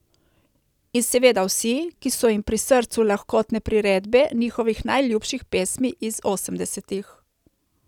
In seveda vsi, ki so jim pri srcu lahkotne priredbe njihovih najljubših pesmi iz osemdesetih.